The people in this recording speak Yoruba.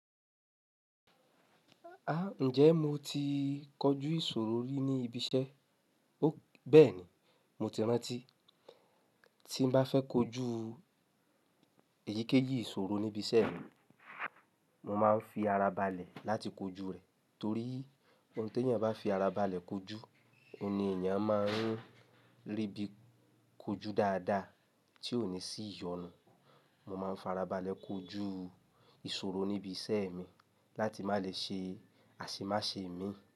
Ah! Ǹjẹ́ mo ti kọjú ìṣòro rí ní ibi iṣẹ́? Béẹ̀ni, mo ti rántí Tí mo bá fẹ́ kojú èyíkéyìí ìṣòro níbi iṣẹ́ mi, mo máa ń fi ara balẹ̀ láti kojú rẹ̀, torí ohun tí ẹni bá fi ara balẹ̀ kojú, ẹni èèyàn máa ń rí bí i kojú dáadáa tí kò ní sí ìyọnu. Mo máa ń fi ara balẹ̀ kojú ìṣòro níbi iṣẹ́ mi láti má lè ṣe àṣemáṣe mi.